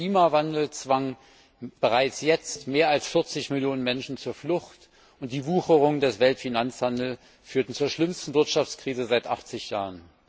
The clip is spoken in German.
Der Klimawandel zwang bereits jetzt mehr als 40 Millionen Menschen zur Flucht, und die Wucherung des Weltfinanzhandels führte zur schlimmsten Wirtschaftskrise seit 80 Jahren.